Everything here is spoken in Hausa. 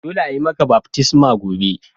Dolle a'yi maka baftisma gobe.